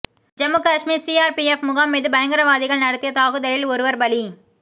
Jammu Kashmir CRPF முகாம் மீது பயங்கரவாதிகள் நடத்திய தாக்குதலில் ஒருவர் பலி